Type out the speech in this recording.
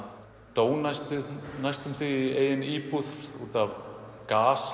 dó næstum næstum því í eigin íbúð útaf